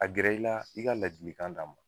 A gɛrɛ i la i ka ladilikan d'a ma.